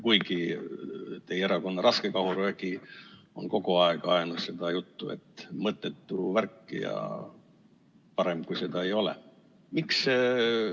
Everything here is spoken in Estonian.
Kuigi teie erakonna raskekahurvägi on kogu aeg ajanud seda juttu, et mõttetu värk ja parem, kui seda ei ole.